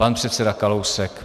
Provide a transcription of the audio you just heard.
Pan předseda Kalousek.